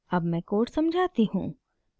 अब मैं code समझाती हूँ